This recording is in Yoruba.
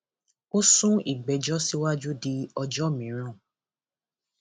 ó sún ìgbẹjọ síwájú di ọjọ miran